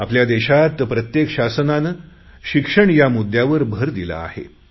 आपल्या देशात प्रत्येक सरकारने शिक्षण या मुद्यावर भर दिला आहे